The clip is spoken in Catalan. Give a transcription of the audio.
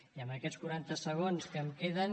i amb aquests quaranta segons que em queden